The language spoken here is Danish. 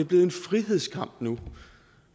blevet en frihedskamp